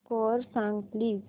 score सांग please